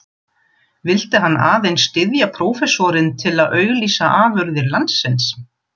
Vildi hann aðeins styðja prófessorinn til að auglýsa afurðir landsins?